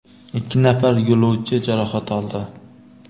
ikki nafar yo‘lovchi jarohat oldi.